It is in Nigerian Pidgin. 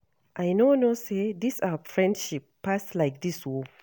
I no know say dis our friendship pass like dis oo